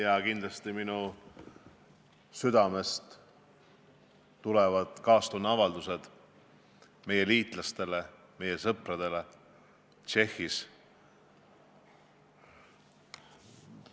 Esitan oma südamest tulevad kaastundeavaldused meie liitlastele, meie sõpradele Tšehhis.